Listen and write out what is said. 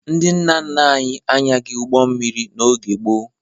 Ndị nna nna anyị anyaghị ụgbọ mmiri n'oge gboo.